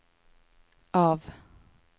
av